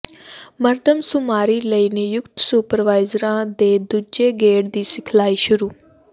ਮਰਦਮਸ਼ੁਮਾਰੀ ਲਈ ਨਿਯੁਕਤ ਸੁਪਰਵਾਈਜ਼ਰਾਂ ਦੇ ਦੂਜੇ ਗੇੜ ਦੀ ਸਿਖਲਾਈ ਸ਼ੁਰੂ